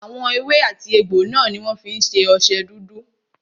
Àwọn èwe àti egbò náà ní wọ́n fí ń ṣe ọṣẹ dúdú.